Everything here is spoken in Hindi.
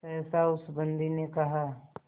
सहसा उस बंदी ने कहा